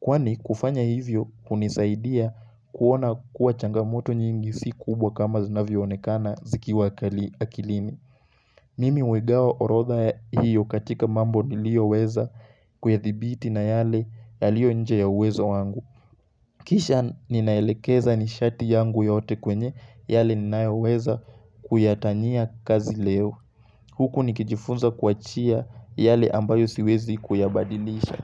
Kwani kufanya hivyo hunisaidia kuona kuwa changamoto nyingi si kubwa kama zinavyoonekana zikiwa kali akilini. Mimi huigawa orodha hiyo katika mambo nilioweza kuyathibiti na yale yaliyo nje ya uwezo wangu. Kisha ninaelekeza nishati yangu yote kwenye yale ninayoweza kuyatania kazi leo. Huku nikijifunza kuachia yale ambayo siwezi kuyabadilisha.